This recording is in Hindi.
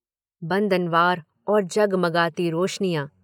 बन्दनवार और जगमगाती रोशनियां।